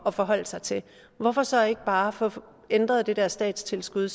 at forholde sig til hvorfor så ikke bare få ændret det der statstilskud